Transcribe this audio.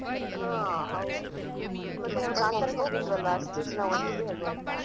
ಹಾ ಹೌದು ಮತ್ತೆ ನಾವ್ ಕಾಂತರಕ್ಕೆ ಹೋಗಿದ್ವೆಲ್ಲ ಒಟ್ಟಿಗೆ ಹೋಗ್ವಾ ಆಯ್ತಾ?